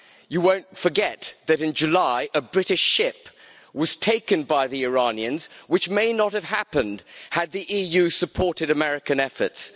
You won't forget that, in July, a British ship was taken by the Iranians, something which might not have happened had the EU supported American efforts.